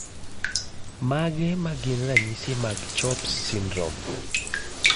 Mage magin ranyisi mag CHOPS syndrome?